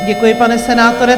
Děkuji, pane senátore.